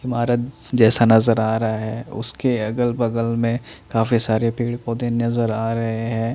मारद जैसा नज़र आ रहा है उसके अगल बगल में काफी सारे पेड़ पौधे नज़र आ रहे हैं।